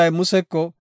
Goday Museko,